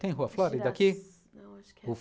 Tem rua Flórida aqui? Não, acho que